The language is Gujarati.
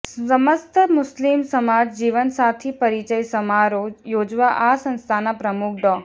સમસ્ત મુસ્લિમ સમાજ જીવનસાથી પરિચય સમારોહ યોજવા આ સંસ્થાના પ્રમુખ ડો